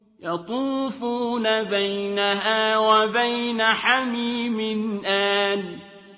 يَطُوفُونَ بَيْنَهَا وَبَيْنَ حَمِيمٍ آنٍ